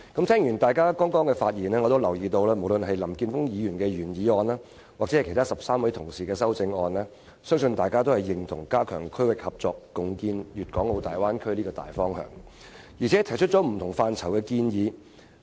聽過大家剛才的發言，我留意到無論是林健鋒議員的原議案還是13位議員提出的修正案，大家均認同"加強區域合作，共建粵港澳大灣區"這個大方向，並就不同範疇提出建議。